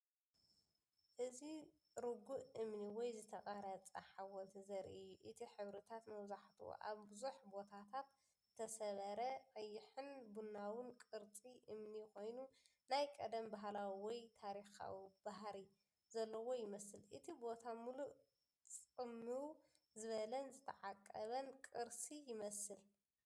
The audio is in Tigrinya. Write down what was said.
እዚ ርጉእ እምኒ ወይ ዝተቐርጸ ሓወልቲ ዘርኢ እዩ። እቲ ሕብርታት መብዛሕትኡ ኣብ ብዙሕ ቦታታት ዝተሰብረ ቀይሕን ቡናውን ቅርጺ እምኒ ኮይኑ፡ናይ ቀደም ባህላዊ ወይ ታሪኻዊ ባህሪ ዘለዎ ይመስል። እቲ ቦታ ምሉእ ጽምው ዝበለን ዝተዓቀበን ቅርሲ ይመስል።